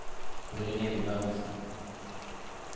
Brynhild Berntzen